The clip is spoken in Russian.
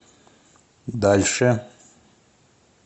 дальше